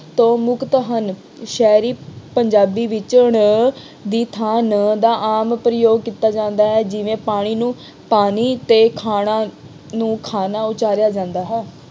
ਤੋਂ ਮੁਕਤ ਹਨ। ਸ਼ਹਿਰੀ ਪੰਜਾਬੀ ਵਿੱਚ ਦੀ ਣ ਥਾਂ ਨ ਦ ਆਮ ਪ੍ਰਯੋਗ ਕੀਤਾ ਜਾਂਦਾ ਹੈ। ਜਿਵੇਂ ਪਾਣੀ ਨੂੰ ਪਾਨੀ ਅਤੇ ਖਾਣਾ ਨੂੰ ਖਾਨਾ ਉਚਾਰਿਆਂ ਜਾਂਦਾ ਹੈ।